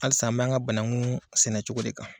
Hali sa an bɛ an ka banakun sɛnɛ cogo de kan.